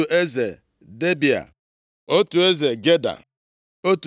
eze Debịa, otu eze Geda, otu